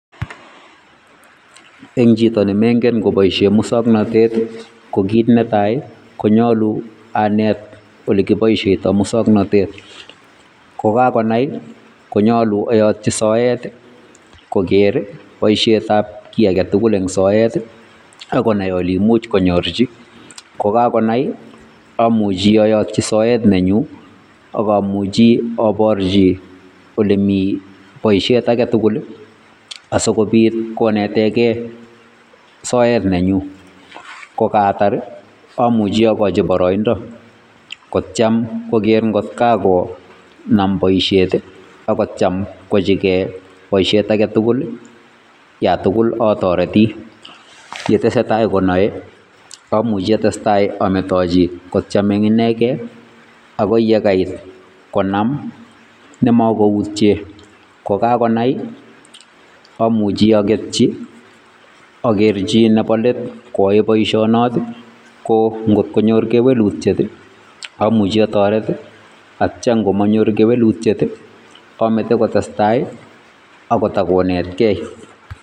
Eng chito nemeingen koboishen musoknotet, ko kit netai konyolu anet ole kiboishien musoknotet. Ko kakonai konyolu oyotyii soet koker boisietab kii agetugul eng sort akonai olei imuch konyorchi, kokakonai amuchi ayootyi soet nenyun ak omuuchi oborchi olemi boishiet agetugul asikoobit konetegee soet nenyun. Kogaatar amuch okochi boroindo kotiem koger ngot kakonai kotiem boisiet ak ngoto kakonai kochochigee kit age tugul. yon tugul otoretii chetesetai konoe amuchi amet echi kotestai kotiem eng inegen akoi yekai konam nemokoutyen. Kokakonai amuchi agetyii Agerchi Nebo let koyoe boishonotok koo ngot konyor kewelutiet amuchi atoret ak yemo nyor kewelutiet amete kotestai ako takonetkei